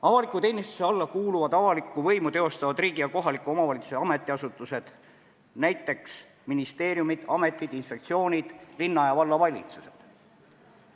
Avaliku teenistuse alla kuuluvad avalikku võimu teostavad riigi ja kohaliku omavalitsuse ametiasutused, näiteks ministeeriumid, ametid, inspektsioonid, linna- ja vallavalitsused.